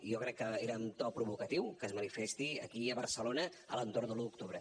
jo crec que era amb to provocatiu que es manifesti aquí a barcelona a l’entorn de l’un d’octubre